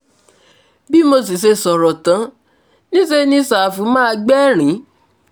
bí mo sì ṣe sọ̀rọ̀ tán níṣẹ́ ni ṣàfù má gbẹ̀rín